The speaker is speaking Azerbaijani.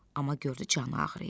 Amma gördü canı ağrıyır.